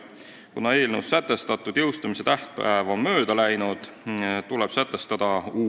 Kuna eelnõus sätestatud jõustumise tähtaeg on mööda läinud, tuleb sätestada uus tähtaeg.